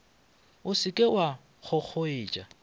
o se ke wa kgokgoetša